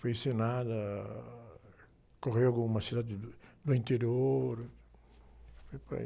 Foi encenada, ah, correu algumas cidades do, do interior, foi por aí.